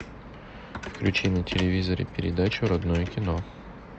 включи на телевизоре передачу родное кино